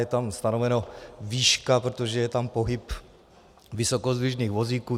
Je tam stanoveno výška, protože je tam pohyb vysokozdvižných vozíků.